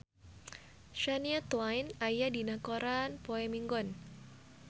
Shania Twain aya dina koran poe Minggon